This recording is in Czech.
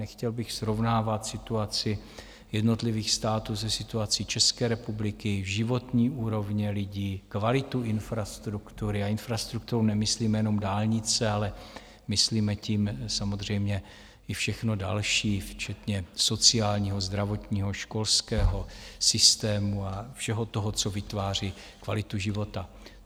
Nechtěl bych srovnávat situaci jednotlivých států se situací České republiky, životní úrovně lidí, kvalitu infrastruktury - a infrastrukturou nemyslíme jenom dálnice, ale myslíme tím samozřejmě i všechno dalš, včetně sociálního, zdravotního, školského systému a všeho toho, co vytváří kvalitu života.